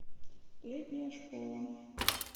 летняя школа